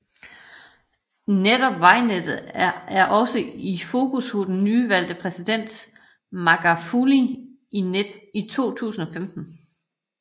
Netop vejnettet er også i fokus hos den nyvalgte præsident Magafuli i 2015